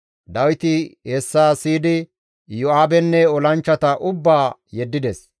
Dawiti hessa siyidi Iyo7aabenne olanchchata ubbaa yeddides.